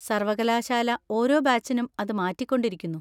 സർവ്വകലാശാല ഓരോ ബാച്ചിനും അത് മാറ്റിക്കൊണ്ടിരിക്കുന്നു.